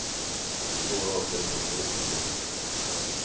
I går orkade kroppen inte längre.